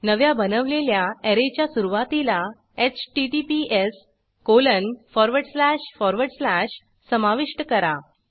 नव्या बनवलेल्या ऍरेच्या सुरूवातीला https समाविष्ट करा